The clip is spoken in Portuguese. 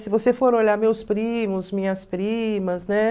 Se você for olhar meus primos, minhas primas, né?